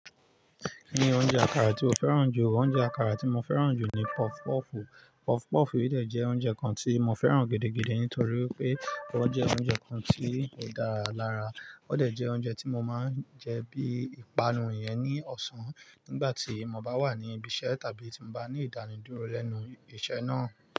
Ní oúnjẹ àkàrà tí ó fẹ́ràn jù, oúnjẹ àkàrà tí mo fẹ́ràn jù ni puff puff. Puff puff yi dẹ́ je oúnjẹ kan tí mo fẹ́ràn gidi nítorí pé ó jẹ́ oúnjẹ kan tí ó dára lára. Ó dẹ̀ jẹ́ oúnjẹ tí mo máa ń jẹ bí ìpanu yẹn ní ọ̀sán nígbà tí mo bá wà ní ibi iṣẹ́ tàbí tí mo bá ní ìdánidúró lẹ́nu iṣẹ́ náà.